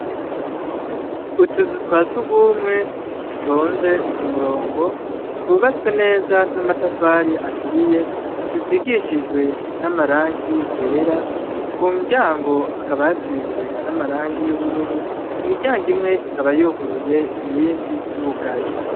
Utuzu twa sugumwe dutonze kumurongo, twubatswe neza namatafari aturiye, dusigishijwe namarangi yera, kumuryango hakaba hasizwe namarangi yubururu, imiryango imwe ikaba yuguruye, iyindi yugaye.